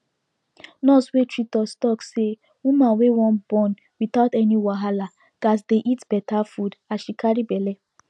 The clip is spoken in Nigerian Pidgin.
nurse wey treat us talk say woman wey wan born without any wahala gats dey eat better food as she carry belle